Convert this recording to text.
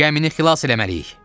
Gəmini xilas eləməliyik.